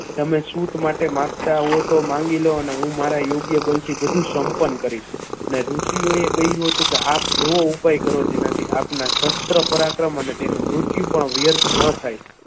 તમે સૂત માટે માંગતા હોવ તો માંગી લો ને હું મારા યોગ્ય બળથી બધું સંપન્ન કરીશ ને ઋષિઓએ કહ્યું હતું કે આ આપ એવો ઉપાય કરો કે જેનાથી આપના શાસ્ત્ર પર આક્રમણ અને તેનું મૃત્યુ પણ વ્યર્થ ન જાય.